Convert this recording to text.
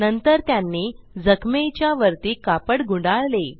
नंतर त्यांनी जखमेच्या वरती कापड गुंडाळले